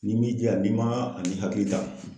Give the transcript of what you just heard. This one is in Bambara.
N'i min jija n'i m'a ni hakili ta.